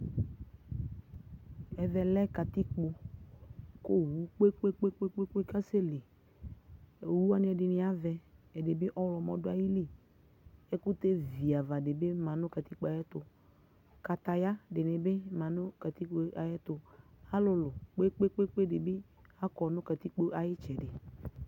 Ɛvɛ lɛ katikpo kʋ owu kpe-kpe-kpe kasɛli Owu wanɩ ɛdɩnɩ avɛ, ɛdɩ bɩ ɔɣlɔmɔ dʋ ayili Ɛkʋtɛ viava dɩ bɩ ma nʋ katikpo yɛ ayɛtʋ Kataya dɩnɩ bɩ ma nʋ katikpo yɛ ayɛtʋ Alʋlʋ kpe-kpe-kpe dɩ bɩ akɔ nʋ katikpo ayʋ ɩtsɛdɩ